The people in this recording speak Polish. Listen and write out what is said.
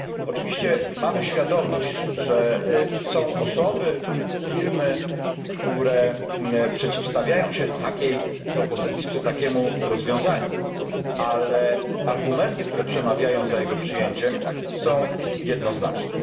Oczywiście mamy świadomość, że są osoby czy firmy, które przeciwstawiają się takiej propozycji lub takiemu rozwiązaniu, ale argumenty, które przemawiają za jego przyjęciem, są jednoznaczne.